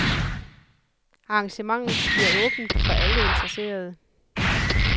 Arrangementet bliver åbent for alle interesserede.